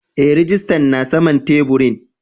Eh rijistan na saman taburin.